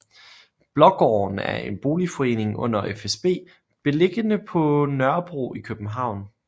Blågården er en boligforening under fsb beliggende på Nørrebro i København